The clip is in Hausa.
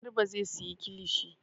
Garba zai sayi kilishi.